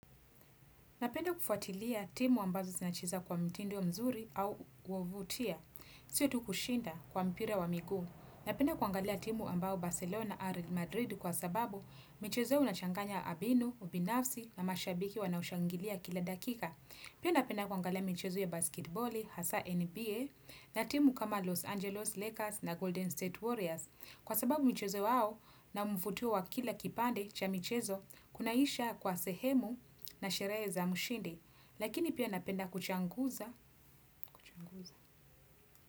Napenda kufuatilia timu ambazo zinacheza kwa mtindo mzuri au kuvutia. Sio tu kushinda kwa mpira wa miguu. Napenda kuangalia timu ambao Barcelona Real Madrid kwa sababu michezo ya unachanganya mbinu, ubinafsi na mashabiki wanaoshangilia kila dakika. Pia napenda kuangalia michezo ya basketiboli, hasa NBA, na timu kama Los Angeles Lakers na Golden State Warriors. Kwa sababu mchezo wao na mvutio wa kila kipande cha michezo Kunaisha kwa sehemu na sherehe za mshindi, lakini pia napenda kuchanguza.